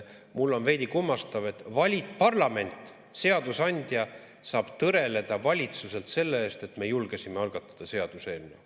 Mul on veidi kummastav, et parlament, seadusandja saab tõreleda valitsuselt selle eest, et me julgesime algatada seaduseelnõu.